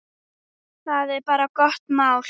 Það er bara gott mál.